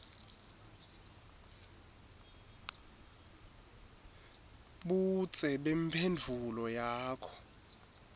budze bemphendvulo yakho